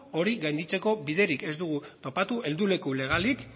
hori gainditzeko biderik ez dugu topatu helduleku legalik